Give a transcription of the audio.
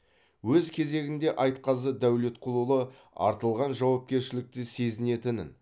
өз кезегінде айтқазы дәулетқұлұлы артылған жауапкершілікті сезінетінін